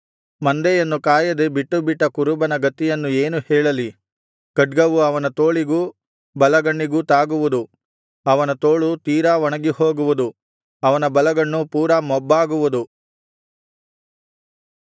ಮಂದೆಯನ್ನು ಕಾಯದೆ ಬಿಟ್ಟು ಬಿಟ್ಟ ಕುರುಬನ ಗತಿಯನ್ನು ಏನು ಹೇಳಲಿ ಖಡ್ಗವು ಅವನ ತೋಳಿಗೂ ಬಲಗಣ್ಣಿಗೂ ತಾಗುವುದು ಅವನ ತೋಳು ತೀರಾ ಒಣಗಿಹೋಗುವುದು ಅವನ ಬಲಗಣ್ಣು ಪೂರಾ ಮೊಬ್ಬಾಗುವುದು